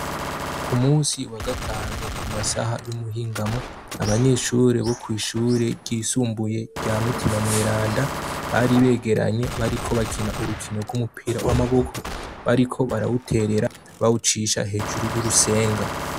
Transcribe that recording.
Ku musi wa gatanu ku masaha y'umuhingamo abanyeshure bo kw'ishure ryisumbuye rya mutima mweranda bari begeranye bariko bakina urukino rw'umupira w'amaboko bariko barawuterera bawucisha hejuru y'urusenga.